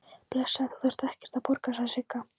Blessaður, þú þarft ekkert að borga, sagði Sigga.